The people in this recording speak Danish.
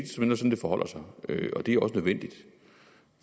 forholder sig og det er også vigtigt